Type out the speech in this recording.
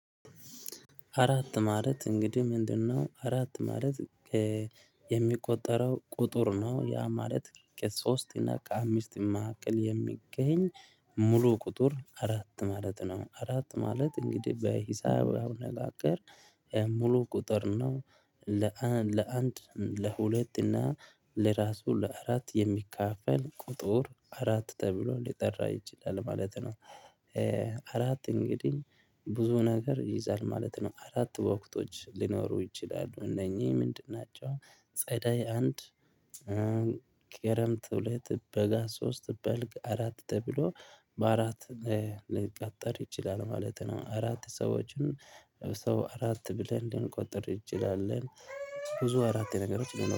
አራት ማለት እንግዲ ምንድነው? አራት ማለት የሚቆጠረው ቁጡር ነው። ያ ማለት ከ ሶስት እና ከአምስት መህከል የሚገኝ ሙሉ ቁጡር አራት ማለት ነው። አራት ማለት እንግዲ በሂሳብ አነጋገር ሙሉ ቁጥር ነው። ለአንድ ለሁለት እና ለራሱ ለአራት የሚካፈል ቁጡር አራት ተብሎ ሊጠራ ይችላል ማለት ነው። አራት እንግዲ ብዙ ነገር ይይዛል ማለት ነው። አራት ወቅቶች ሊኖሩ ይችላሉ እነኚ ምንድን ናቸው? ጸደይ አንድ ክረምት ሁለት በጋ ሶስት በልግ አራት ተብሎ በአራት ሊቀጠር ይችላል ማለት ነው። አራት ሰዎችን ሰው አራት ብለን ልንቆጥር እንችላለን። ብዙ አራት ነገሮች